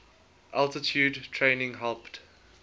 altitude training helped